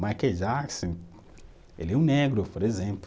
Michael Jackson, ele é um negro, por exemplo.